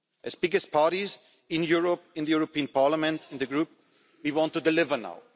As the biggest party in Europe, in the European Parliament, in the Group we want to deliver now.